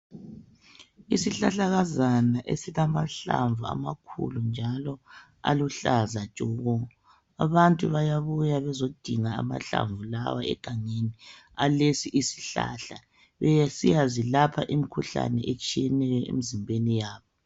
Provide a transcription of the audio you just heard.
Isihlahlakazana esilamahlamvu amakhulu njalo aluhlaza tshoko abantu bayabuya bezodinga amahlamvu lawa egangeni alesi isihlahla besiyazilapha imikhuhlane etshiyeneyo emzimbeni yabo